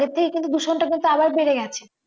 আগের থেকে কিন্তু দূষণটা কিন্তু আবার বেড়ে যাচ্ছে